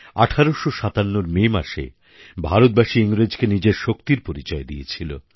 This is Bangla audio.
১৮৫৭র মে মাসে ভারতবাসী ইংরেজকে নিজের শক্তির পরিচয় দিয়েছিল